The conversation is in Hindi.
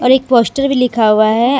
एक पोस्टर भी लिखा हुआ है ।